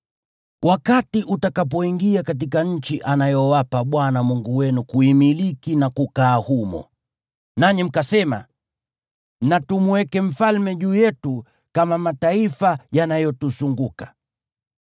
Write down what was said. Wakati utakapoingia katika nchi anayowapa Bwana Mungu wenu kuimiliki na kukaa humo, nanyi mkasema, “Na tumweke mfalme juu yetu kama mataifa yanayotuzunguka,”